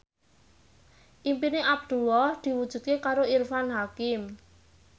impine Abdullah diwujudke karo Irfan Hakim